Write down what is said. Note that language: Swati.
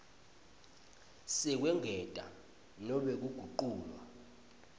sekwengetwa nobe kuguculwa